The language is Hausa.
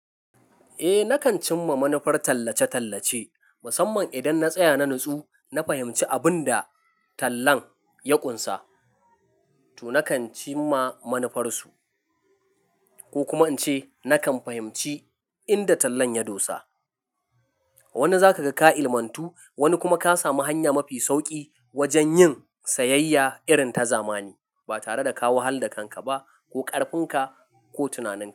Eh nakan cimma manufar tallace-tallace musamman idan na tsaya na natsu, na fahimci abin da tallan ya ƙunsa to nakan cimma manufarsu ko kuma in ce nakan fahimci inda tallan ya dosa. Wani zaka ga ka ilmatu wani kuma ka sami hanya mafi sauƙi wajen yin sayayya irin ta zamani ba tare da ka wahal da kanka ba ko ƙarfinka ko tunaninka.